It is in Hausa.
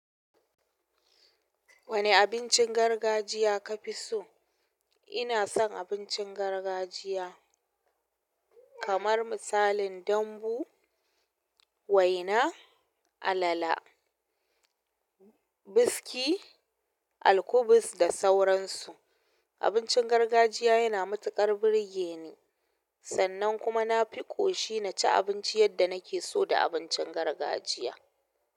Wane abincin gargajiya ka fi so? Ina son abincin gargajiya kamar misalin dambo, waina, alala, biski, alkubus da sauransu. Abincin gargajiya yana matuƙar birge ni sannan kuma na fi ƙoshi na ci abinci yadda na ke so da abincin gargajiya.